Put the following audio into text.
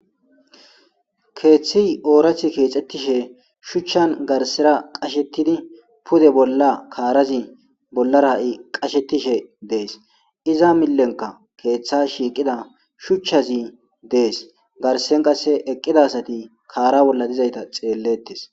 Keeththi oorathi keexxettishe shuchchan garsera qashettidi pude bolla kaarazi bollara'i qashetishe dees iza millenka keeththa shiiqida shuchchazi dees garsen qasse eqqida asati kaara bolla dizayta xeellettes.